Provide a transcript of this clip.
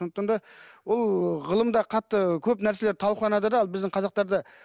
сондықтан да ол ғылымда қатты көп нәрселер талқыланады да ал біздің қазақтарда